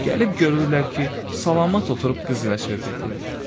Gəlib görürlər ki, salamat oturub qız ilə söhbət edir.